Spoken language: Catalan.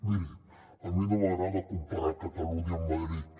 miri a mi no m’agrada comparar catalunya amb madrid